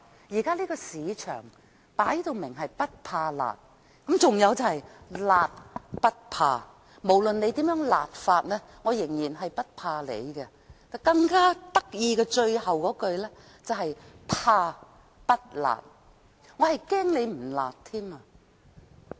現在的市場分明是"不怕辣"，還有"辣不怕"，無論你如何"辣"，我仍然不怕你，更有趣的是最後一句"怕不辣"，我更怕你不辣。